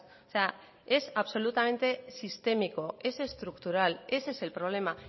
o sea es absolutamente sistémico es estructural ese es el problema